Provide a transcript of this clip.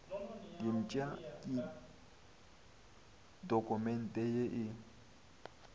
diepša ke dokumente ye e